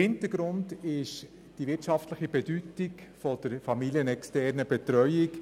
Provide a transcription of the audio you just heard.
Hintergrund ist die wirtschaftliche Bedeutung der familienexternen Betreuung.